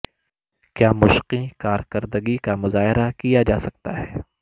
کیا مشقیں کارکردگی کا مظاہرہ کیا جا سکتا ہے